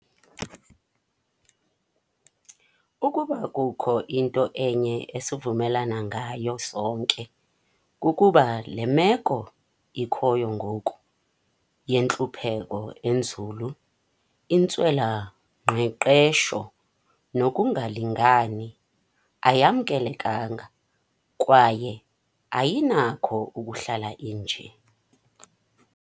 "Ukuba kukho into enye esivumelana ngayo sonke, kukuba le meko ikhoyo ngoku - yentlupheko enzulu, intswela-ngqeqesho nokungalingani - ayamkelekanga kwaye ayinakho ukuhlala inje."